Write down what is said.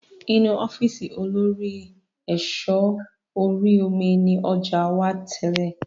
Inu ọ́fíìsì olórí ẹ̀sọ́ orí omi ni ọjà wá tẹ́lé